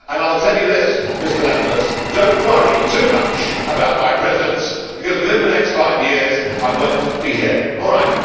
I will tell you this, Mr Lamberts do not worry too much about my presence, because within the next five years, I will not be here, all right?